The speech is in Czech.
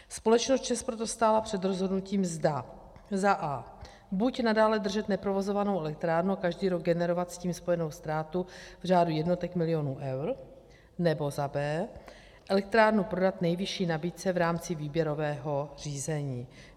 Společnost ČEZ proto stála před rozhodnutím, zda za a) buď nadále držet neprovozovanou elektrárnu a každý rok generovat s tím spojenou ztrátu v řádu jednotek milionů eur, nebo za b) elektrárnu prodat nejvyšší nabídce v rámci výběrového řízení.